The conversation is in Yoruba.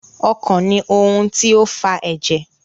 Ọkàn ní ohùn tí o fà èjè.